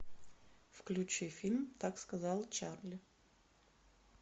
включи фильм так сказал чарли